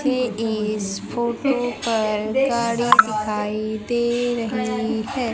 इथे इस फोटो पर गाड़ी दिखाई दे रही है।